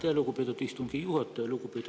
Aitäh, lugupeetud istungi juhataja!